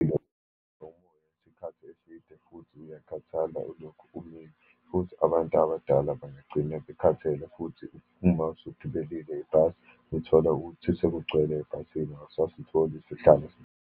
Nomo ume isikhathi eside, futhi uyakhathala ulokhu umile. Futhi abantu abadala bangagcina bekhathele, futhi uma usugibelile ibhasi uthola ukuthi sekugcwele ebhasini, awusasitholi isihlalo.